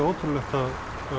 ótrúlegt að